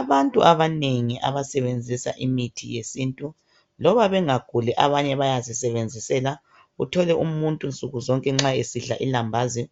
Abantu abanengi abasebenzisa imithi yesintu loba bengaguli, abanye bayazisebenzisela. Uthole umuntu nsuku zonke nxa esidla ilambazi